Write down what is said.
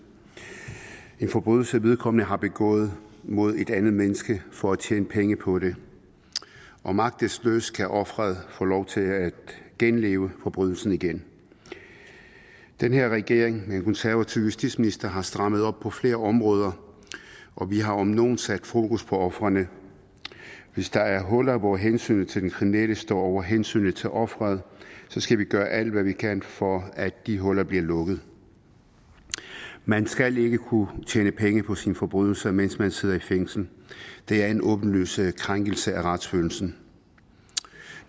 en forbrydelse vedkommende har begået mod et andet menneske for at tjene penge på det og magtesløst kan offeret få lov til at genopleve forbrydelsen den den her regering med en konservativ justitsminister har strammet op på flere områder og vi har om nogen sat fokus på ofrene hvis der er huller hvor hensynet til den kriminelle står over hensynet til offeret skal vi gøre alt hvad vi kan for at de huller bliver lukket man skal ikke kunne tjene penge på sine forbrydelser mens man sidder i fængsel det er en åbenlys krænkelse af retsfølelsen